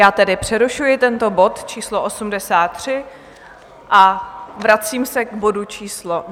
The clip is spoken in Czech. Já tedy přerušuji tento bod číslo 83 a vracím se k bodu číslo